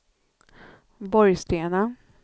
Borgstena